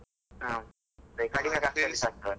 ಹ, ಖರ್ಚಲ್ಲಿಸಾ ಆಗ್ತಾದಲ.